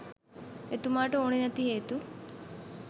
එතුමාට ඕනෙ නැති හේතු